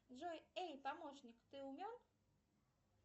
джой эй помощник ты умен